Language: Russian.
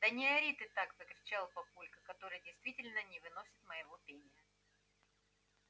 да не ори ты так закричал папулька который действительно не выносит моего пения